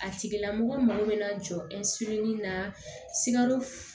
A tigila mɔgɔ mago bɛ na jɔ na sikaro